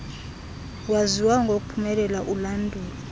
waziwayo ngokuphumelela ulandulo